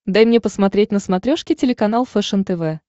дай мне посмотреть на смотрешке телеканал фэшен тв